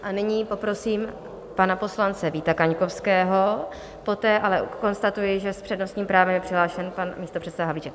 A nyní poprosím pana poslance Víta Kaňkovského, poté ale konstatuji, že s přednostním právem je přihlášen pan místopředseda Havlíček.